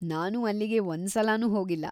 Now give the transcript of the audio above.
ನಾನು ಅಲ್ಲಿಗೆ ಒಂದ್ಸಲನೂ ಹೋಗಿಲ್ಲ.